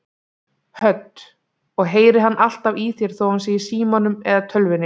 Hödd: Og heyrir hann alltaf í þér þó hann sé í símanum eða tölvunni?